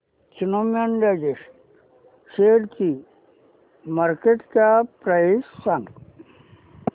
Snowman logistics शेअरची market cap price सांगा